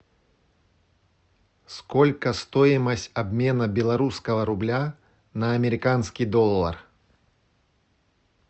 сколько стоимость обмена белорусского рубля на американский доллар